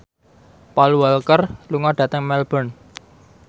Paul Walker lunga dhateng Melbourne